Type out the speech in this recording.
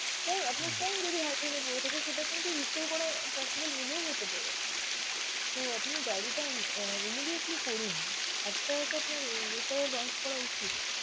তা আপনার phone যদি high drain এ পরে থাকে সেটা কিন্তু restore করা possible হলেও হতে পারে. তো আপনি diary টা অ্যাঁ immediately করুন, after all আপনার launch করা উচিত.